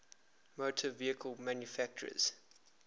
motor vehicle manufacturers